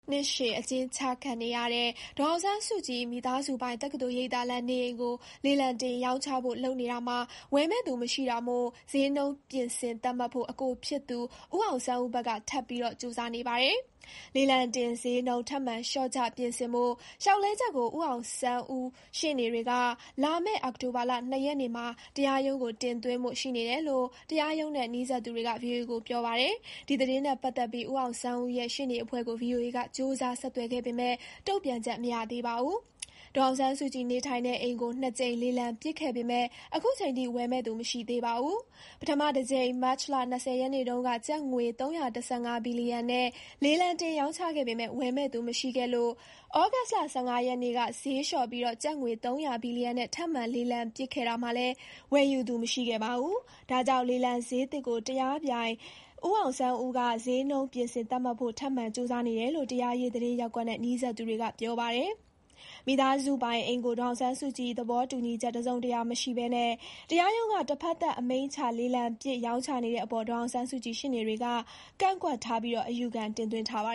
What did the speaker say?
နှစ်ရှည် အကျဥ်းကျခံနေရတဲ့ ဒေါ်အောင်ဆန်းစုကြည် မိသားစုပိုင် တက္ကသိုလ်ရိပ်သာလမ်း နေအိမ်ကို လေလံတင်ရောင်းချဖို့ လုပ်နေတာမှာ ဝယ်မယ့်သူမရှိတာမို့ စျေးနှုန်း ပြင်ဆင်သတ်မှတ်ဖို့ အကိုဖြစ်သူ ဦးအောင်ဆန်းဦးဘက်က ထပ်ပြီးကြိုးစားနေပါတယ်။ လေလံတင် စျေးနှုန်း ထပ်မံ လျှော့ချ ပြင်ဆင်ဖို့ လျှောက်လဲချက်ကို ဦးအောင်ဆန်း ဦးရှေ့နေတွေက လာမယ့် အောက်တိုဘာ ၂ ရက်နေ့မှာ တရားရုံးကို တင်သွင်းဖို့ ရှိနေတယ်လို့ တရားရုံးနဲ့ နီးစပ်သူတွေက ဗွီအိုအေကို ပြောပါတယ်။ ဒီသတင်းနဲ့ပတ်သက်ပြီး ဦးအောင်ဆန်းဦးရဲ့ ရှေ့နေအဖွဲ့ကို ဗွီအိုအေက ကြိုးစား ဆက်သွယ်ပေမဲ့ တုံ့ပြန်ချက် မရသေးပါဘူး။ ဒေါ်အောင်ဆန်းစုကြည် နေထိုင်တဲ့အိမ်ကို ၂ ကြိမ် လေလံပစ်ခဲ့ပေမဲ့ ခုချိန်ထိ ဝယ်မယ့်သူ မရှိသေးပါဘူး။ ပထမတကြိမ် မတ်လ ၂၀ ရက်နေ့တုန်းက ကျပ်ငွေ ၃၁၅ ဘီလီယံနဲ့ လေလံတင်ရောင်းချခဲ့ပေမဲ့ ဝယ်မယ့်သူ မရှိခဲ့လို့ ဩဂုတ်လ ၁၅ ရက်နေ့က ဈေးလျှော့ပြီး ကျပ်ငွေ ၃၀၀ ဘီလီယံ နဲ့ ထပ်မံ လေလံပစ်ခဲ့တာမှာလည်း ဝယ်ယူသူမရှိခဲ့ပါဘူး။ ဒါကြောင့် လေလံစျေးသစ်ကို တရားပြိုင် ဦးအောင် ဆန်းဦးက စျေးနှုန်း ပြင်ဆင်သတ်မှတ်ဖို့ ထပ်မံကြိုးစားနေတယ်လို့ တရားရေး သတင်းရပ်ကွက်နဲ့ နီးစပ်သူတွေက ပြောပါတယ်။ မိသားစုပိုင် အိမ်ကို ဒေါ်အောင်ဆန်းစုကြည် သဘောတူညီချက် တစုံတရာ မရှိဘဲ တရားရုံးက တဖက်သတ် အမိန့်ချ လေလံပစ် ရောင်းချနေတဲ့အပေါ် ဒေါ်အောင်ဆန်းစုကြည် ရှေ့နေတွေကလည်း ကန့်ကွက်ထားပြီး အယူခံ တင်သွင်းထားပါ